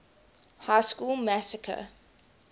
high school massacre